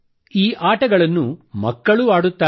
ಈ ಆಟಗಳನ್ನು ಮಕ್ಕಳೂ ಆಡುತ್ತಾರೆ